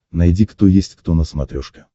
найди кто есть кто на смотрешке